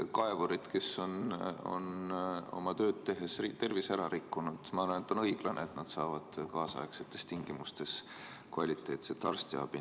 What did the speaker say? Kaevurid on oma tööd tehes tervise ära rikkunud ja ma arvan, et on õiglane, kui nad saavad kaasaegsetes tingimustes kvaliteetset arstiabi.